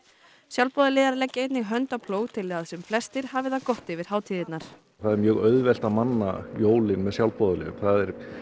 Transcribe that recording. sjálfboðaliðar leggja einnig hönd á plóg til að sem flestir hafi það gott yfir hátíðirnar það er mjög auðvelt að manna jólin með sjálfboðaliðum það er